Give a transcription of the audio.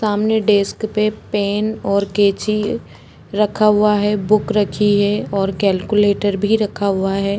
सामने डेस्क पे पेन और कैंची रखा हुआ है बुक रखी है और कैलकुलेटर भी रखा हुआ है।